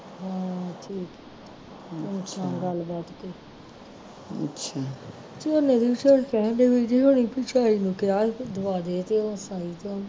ਹਮ ਠੀਕ ਗੱਲ ਬਾਤ ਕੋਈ ਦੀ ਚਾਈਂ ਨੂੰ ਕਿਹਾ ਕਿ ਦਵਾਦੇ ਤੇ ਉਹ